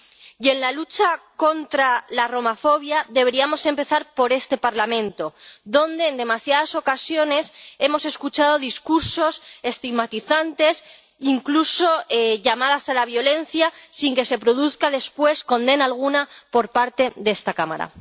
Y en la lucha contra la romafobia deberíamos empezar por este Parlamento, donde en demasiadas ocasiones hemos escuchado discursos estigmatizantes, incluso llamadas a la violencia, sin que se produzca después condena alguna por parte de esta Cámara.